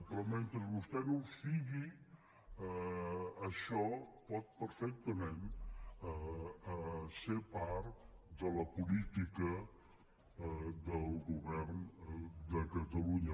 però mentre vostè no ho sigui això pot perfectament ser part de la política del govern de catalunya